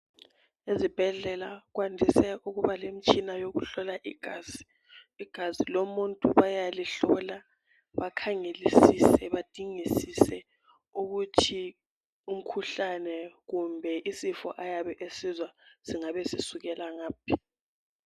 Ezibhedlela kwandise ukuba lemitshina yokuhlola igazi. Igazi lomuntu bayalihlola bakhangelisise badingisise ukuthi umkhuhlane kumbe isifo singabe sisukela ngaphi.